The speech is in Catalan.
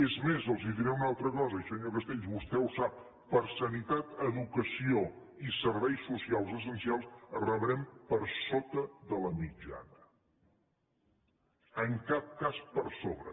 és més els diré una altra cosa i senyor castells vostè ho sap per sanitat educació i serveis socials essencials rebrem per sota de la mitjana en cap cas per sobre